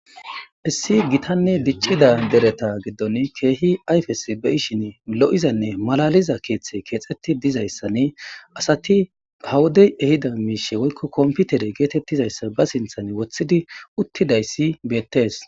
Issi gitane dic'c'ida dereta gidoni kehi ayfes be'ishin lo'izane malaliza kethi kexeti dizaysane asati ha wode ehida mishi woyko kompitere getetizaysa ba sinten wotidi utidaysi beets.